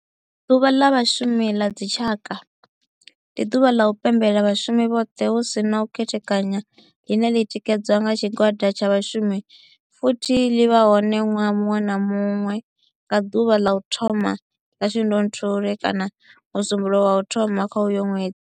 Ḓuvha la Vhashumi la dzi tshaka, ndi duvha la u pembela vhashumi vhothe hu si na u khethekanya line li tikedzwa nga tshigwada tsha vhashumi futhi li vha hone nwaha munwe na munwe nga duvha la u thoma 1 la Shundunthule kana musumbulowo wa u thoma kha uyo nwedzi.